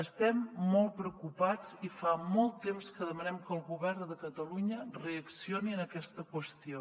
estem molt preocupats i fa molt temps que demanem que el govern de catalunya reaccioni en aquesta qüestió